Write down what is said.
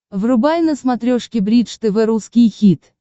врубай на смотрешке бридж тв русский хит